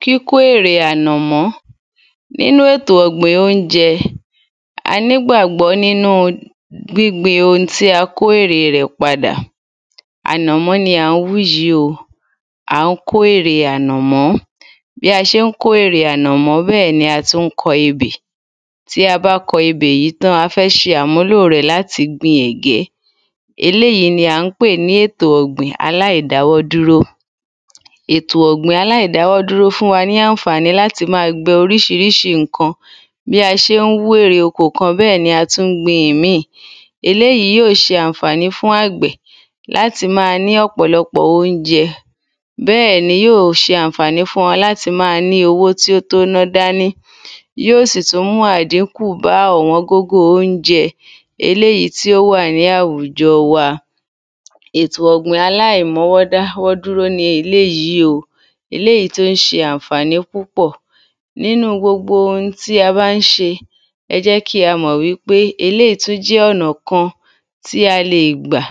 kíkó èrè ànàmọ́ nínú ètò ọ̀gbìn óúnjẹ a nígbàgbọ́ nínú gbíngbin oun tí a kó èrè rẹ̀ padà ànàmọ́ ni à ń wú yi o à ń kó èrè ànàmọ́ bí a n ṣe kó èrè ànàmọ́ bẹ́ẹ̀ ni a tún kọ ebè tí a bá kọ ebè yìí tán, a fẹ́ ṣe àmúlò rẹ̀ láti gbin eléyìí ni à ń pè ní ètò ọ̀gbìn aláìdáwọ́dúró ètò ọ̀gbìn aláìdáwọ́dúró fún wa ní ànfàní láti máa gbin oríṣiríṣi ǹkan ní a ńsé wú ẹ̀rẹ̀ oko kan bẹ́ẹ̀ ni a tún gbin ìmíì eléyìí yóò ṣe ànfàní fún àgbẹ̀ láti máa ní ọ̀pọ̀lọ̀pọ̀ óúnjẹ bẹ́ẹ̀ ni yóò ṣe fún wọn ànfàní láti máa ní owó tí ó tó ná dání yóò sì tún mú àdíńkù bá ọ̀wọ́n gógó óúnjẹ eléyìí tí ó wà ní àwùjọ wa ètò ọ̀gbìn aláìmọ́wọ́dáwọ́dúró ni eléyìí o eléyìí tí ó ńse ànfàní púpọ̀ nínú gbogbo ohun ti a mbá ń se ẹjẹ́ kí a mọ̀ wípé eléyìí tún jẹ́ ọ̀nà kan tí a lè gbà